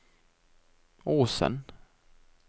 Åsen